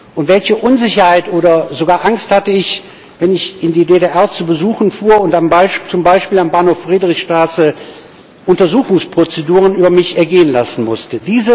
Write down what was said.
Und welche Unsicherheit oder sogar Angst hatte ich, wenn ich in die DDR zu Besuchen fuhr und zum Beispiel am Bahnhof Friedrichstraße Untersuchungsprozeduren über mich ergehen lassen musste!